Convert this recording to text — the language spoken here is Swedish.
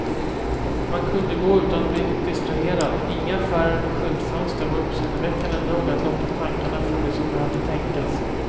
Man kunde gå utan att bli distraherad, inga affärer eller skyltfönster var uppseendeväckande nog att locka tankarna från det som behövde tänkas.